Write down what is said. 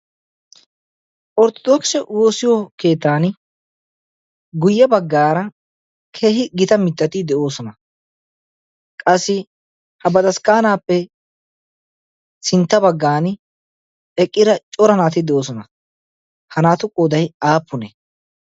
otrrodookisse keetaani guye bagaani mitati de'oosona. qassi ha bataskaanappe sintta bagaani cora naati eqqiosona. ha naatu qooday aapunee?